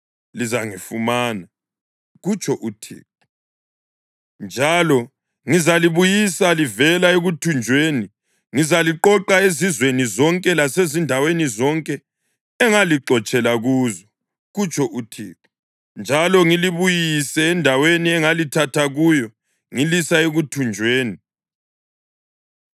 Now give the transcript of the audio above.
Lizangifumana,” kutsho uThixo, “njalo ngizalibuyisa livela ekuthunjweni. Ngizaliqoqa ezizweni zonke lasezindaweni zonke engalixotshela kuzo,” kutsho uThixo, “njalo ngilibuyise endaweni engalithatha kuyo ngilisa ekuthunjweni.”